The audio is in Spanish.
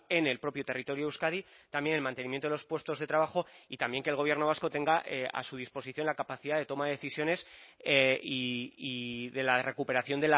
en el propio territorio de euskadi también el mantenimiento de los puestos de trabajo y también que el gobierno vasco tenga a su disposición la capacidad de toma de decisiones y de la recuperación